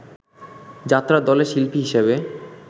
যাত্রার দলে শিল্পী হিসেবে